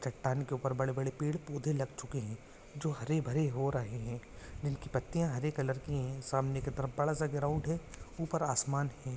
चट्टान के ऊपर बड़े बड़े पेड़ पोधे लग चुक है जो हरे भरे हो रहे है नील की पतिया हरे कलर की है समाने बड़ा सा ग्राउंड है ऊपर आसमान है।